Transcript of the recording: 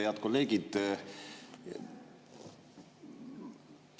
Head kolleegid!